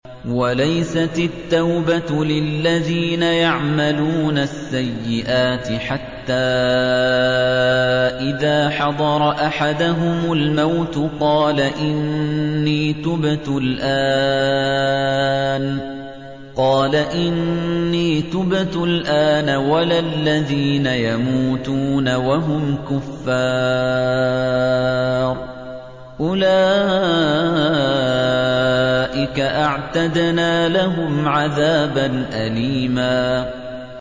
وَلَيْسَتِ التَّوْبَةُ لِلَّذِينَ يَعْمَلُونَ السَّيِّئَاتِ حَتَّىٰ إِذَا حَضَرَ أَحَدَهُمُ الْمَوْتُ قَالَ إِنِّي تُبْتُ الْآنَ وَلَا الَّذِينَ يَمُوتُونَ وَهُمْ كُفَّارٌ ۚ أُولَٰئِكَ أَعْتَدْنَا لَهُمْ عَذَابًا أَلِيمًا